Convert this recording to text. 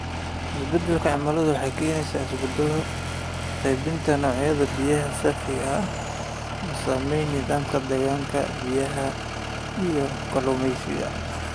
Isbeddelka cimiladu waxay keenaysaa isbeddelo qaybinta noocyada biyaha saafiga ah, oo saameeya nidaamka deegaanka biyaha iyo kalluumeysiga.